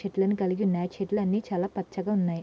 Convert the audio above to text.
చెట్లును కలిగి ఉన్నాయ్. అంతే కాకుండా చెట్లు అన్ని చాల పచ్చగా ఉన్నాయ్.